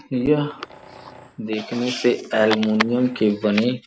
यह देखने से एलुमिनियम के बने --